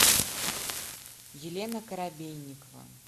елена коробейникова